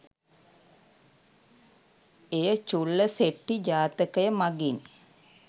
එය චුල්ලසෙට්ඨි ජාතකය මගින්